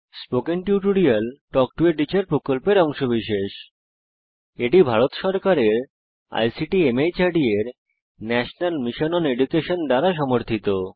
spoken tutorial talk to a teacher প্রকল্পের অংশবিশেষ এটি ভারত সরকারের আইসিটি মাহর্দ এর ন্যাশনাল মিশন ওন এডুকেশন দ্বারা সমর্থিত